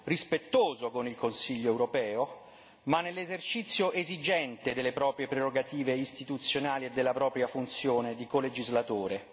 rispettoso con il Consiglio europeo, ma nell'esercizio esigente delle proprie prerogative istituzionali e della propria funzione di colegislatore.